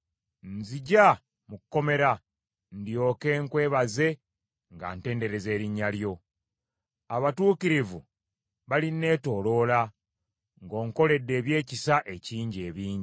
Nziggya mu kkomera, ndyoke nkwebaze nga ntendereza erinnya lyo. Abatuukirivu balinneetooloola, ng’onkoledde ebyekisa ekingi ebingi.